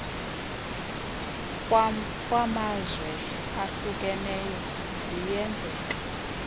kwamazwe ahlukeneyo ziyenzeka